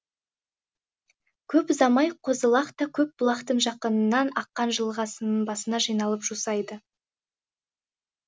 көп ұзамай қозы лақ та көп бұлақтың жақынынан аққан жылғасының басына жиылып жусайды